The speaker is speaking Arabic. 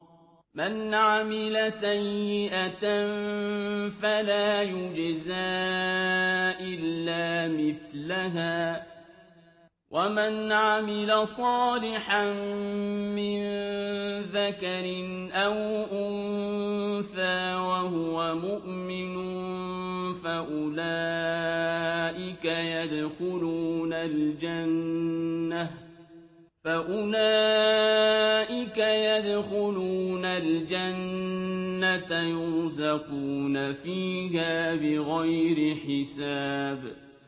مَنْ عَمِلَ سَيِّئَةً فَلَا يُجْزَىٰ إِلَّا مِثْلَهَا ۖ وَمَنْ عَمِلَ صَالِحًا مِّن ذَكَرٍ أَوْ أُنثَىٰ وَهُوَ مُؤْمِنٌ فَأُولَٰئِكَ يَدْخُلُونَ الْجَنَّةَ يُرْزَقُونَ فِيهَا بِغَيْرِ حِسَابٍ